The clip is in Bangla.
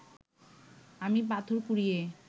আমি পাথর কুড়িয়ে